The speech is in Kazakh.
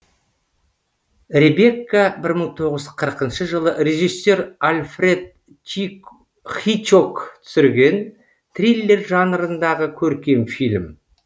ребекка бір мың тоғыз жүз қырқыншы жылы режиссер альфред хичок түсірген триллер жанрындағы көркем фильм